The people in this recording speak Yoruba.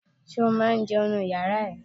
Ṣé o máa ń jẹun nínu yàrá ẹ?